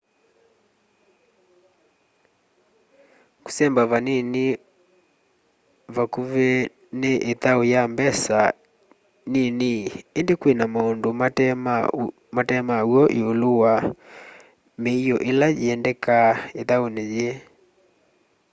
kũsemba vandũ vakũvi ni ĩthaũ ya mbesa nini indĩ kwina maũndũ mate ma w'o ĩũlũ wa mĩio ila yiendekaa ithaũni yiĩ